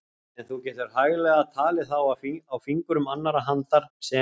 En þú getur hæglega talið þá á fingrum annarrar handar sem